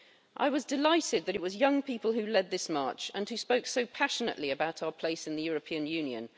I was delighted that it was young people who led this march and who spoke so passionately about our place in the European Union.